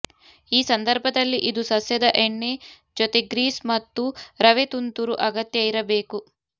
ಈ ಸಂದರ್ಭದಲ್ಲಿ ಇದು ಸಸ್ಯದ ಎಣ್ಣೆ ಜೊತೆ ಗ್ರೀಸ್ ಮತ್ತು ರವೆ ತುಂತುರು ಅಗತ್ಯ ಇರಬೇಕು